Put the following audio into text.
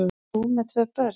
Þú með tvö börn!